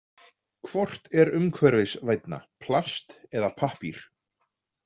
Hvort er umhverfisvænna, plast eða pappír?